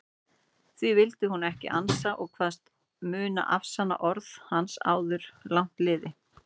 Því vildi hún ekki ansa og kvaðst mundu afsanna orð hans áður langt liði.